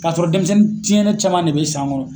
Ka sɔrɔ dɛnmisɛnnin tiɲɛnen caman de be